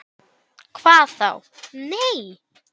En þá vantaði fé.